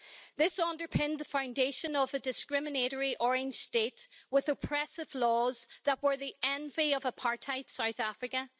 This underpinned the foundation of a discriminatory Orange State with oppressive laws that were the envy of apartheid South Africa.